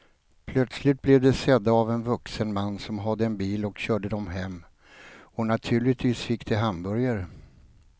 Plötsligt blev de sedda av en vuxen man som hade en bil och körde dem hem och naturligtvis fick de hamburgare.